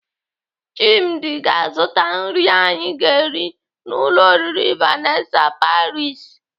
Chimdi ga-azụta nri anyi ga-eri n'ụlọ oriri Vanessa paris.